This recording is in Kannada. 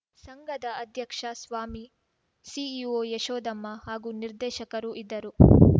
ಸಂಘದ ಅಧ್ಯಕ್ಷ ಸ್ವಾಮಿ ಸಿಇಒ ಯಶೋಧಮ್ಮ ಹಾಗೂ ನಿರ್ದೇಶಕರು ಇದ್ದರು